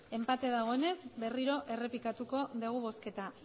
enpate dagoenez berriro errepikatuko dugu bozketa